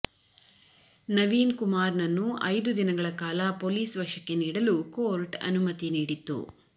ನವೀನ್ ಕುಮಾರ್ ನನ್ನು ಐದು ದಿನಗಳ ಕಾಲ ಪೊಲೀಸ್ ವಶಕ್ಕೆ ನೀಡಲು ಕೋರ್ಟ್ ಅನುಮತಿ ನೀಡಿತ್ತು